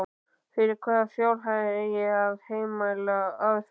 Fyrir hvaða fjárhæð eigi að heimila aðför?